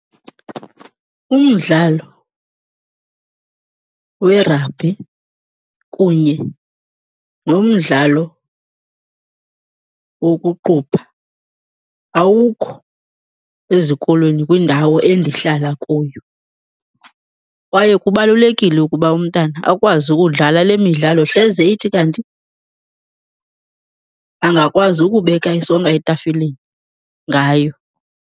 Umdlalo werabhi kunye nomdlalo wokuqubha awukho ezikolweni kwindawo endihlala kuyo. Kwaye kubalulekile ukuba umntana akwazi ukudlala le midlalo hleze ithi kanti angakwazi ukubeka isonka etafileni ngayo.